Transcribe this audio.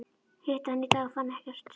Hitti hann í dag og fann ekkert.